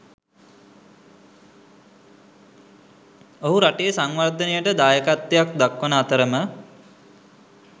ඔහු රටේ සංවර්ධනයට දායකත්වයක් දක්වන අතරම